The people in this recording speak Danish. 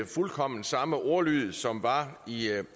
fuldkommen samme ordlyd som var i